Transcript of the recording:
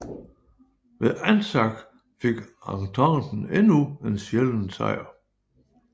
Ved Anzac fik Ententen endnu en sjælden sejr